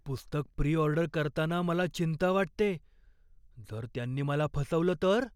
पुस्तक pre order करताना मला चिंता वाटतेय, जर त्यांनी मला फसवलं तर?